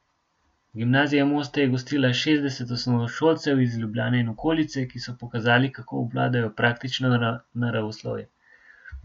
Gimnazija Moste je gostila šestdeset osnovnošolcev iz Ljubljane in okolice, ki so pokazali, kako obvladajo praktično naravoslovje.